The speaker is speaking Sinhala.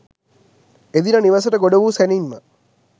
එදින නිවෙසට ගොඩ වූ සැණින්ම